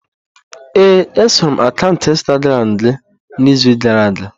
Ee, esoro m akaụntụ Instagramu gị n'izu gara aga.